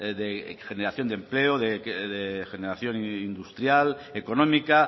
de generación de empleo de generación industrial económica